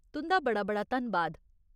तुं'दा बड़ा बड़ा धन्नबाद।